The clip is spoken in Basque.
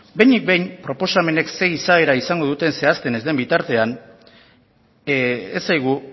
behinik behin proposamenek zein izaera izango duten zehazten ez den bitartean ez zaigu